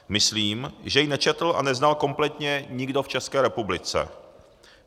Myslím, že ji nečetl a neznal kompletně nikdo v České republice.